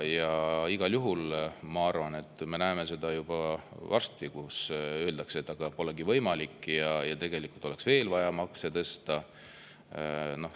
Igal juhul ma arvan, et me näeme, et juba varsti öeldakse, et polegi võimalik ja tegelikult oleks vaja veel makse tõsta.